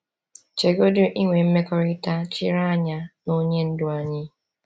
Chegodi inwe mmekọrịta chiri anya na Onye Ndu anyị!